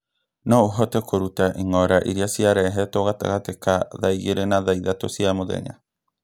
No ũhote kũruta ĩng'ora iria ciarehetwo gatagatĩ ka thaa igĩrĩ na thaa ithatũ cia mũthenya